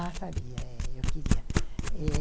Ah, sabia, é, eu queria.